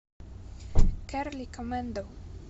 кэрли комэндо